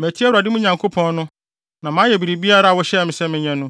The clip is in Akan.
Matie Awurade, me Nyankopɔn no, na mayɛ biribiara a wohyɛɛ me sɛ menyɛ no.